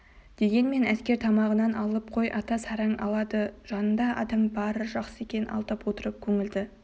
дегенмен әскер тамағынан алып қой ата сараң алады жаныңда адам бары жақсы екен алдап отырып көңілді